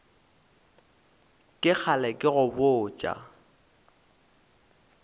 ke kgale ke go botša